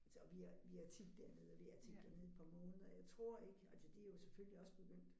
Og vi er vi er tit dernede og vi er tit dernede et par måneder jeg tror ikke altså de er jo selvfølgelig også begyndt